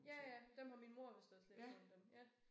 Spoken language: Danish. Ja ja dem har min mor vist også læst nogle af dem ja